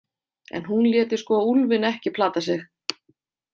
En hún léti sko úlfinn ekki plata sig.